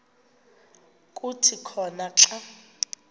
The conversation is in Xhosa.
kuthi khona xa